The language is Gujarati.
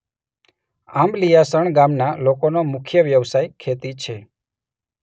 આંબલીયાસણ ગામના લોકોનો મુખ્ય વ્યવસાય ખેતી છે.